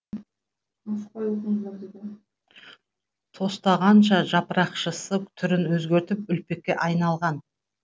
тостағанша жапырақшасы түрін өзгертіп үлпекке айналған